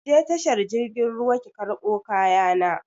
Ki je tashar jirgin ruwa ki karɓo kaya na!